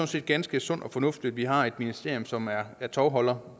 set ganske sundt og fornuftigt at vi har et ministerium som er tovholder